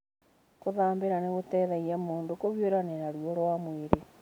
Gũthambĩra nĩ gũteithagia mũndũ kũhiũrania na ruo rwa mwĩrĩ.